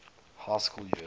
high school years